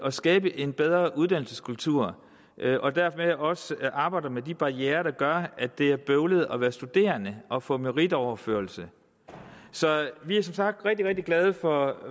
at skabe en bedre uddannelseskultur og dermed også arbejder med de barrierer der gør at det er bøvlet at være studerende og få meritoverførsel så vi er som sagt rigtig rigtig glade for